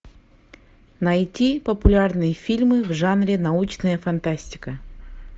найти популярные фильмы в жанре научная фантастика